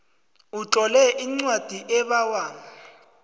utlole incwadi ebawa